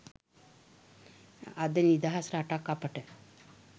අද නිදහස් රටක් අපට